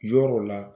Yɔrɔ la